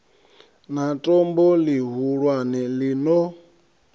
na tombo ḽihulwane ḽi no